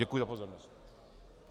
Děkuji za pozornost.